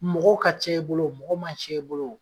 Mɔgɔw ka ca i bolo o mɔgɔ man ca i bolo o